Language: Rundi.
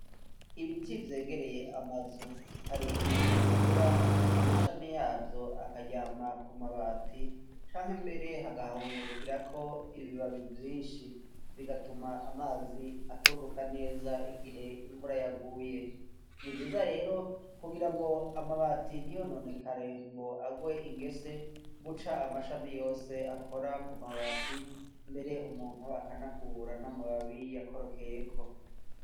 Ibiti vyegereye amazu hari igihe bikura amashami yavyo akaryama ku mabati canke mbere hagahungurukirako ibibabi vyishi bigatuma amazi atururuka neza igihe imvura yaguye nivyiza rero kugira ngo amabati ntiyononekare ngo agwe ingese guca amashami yose akora ku mabati mbere umuntu akanakubura n'amababi yakorokeyeko.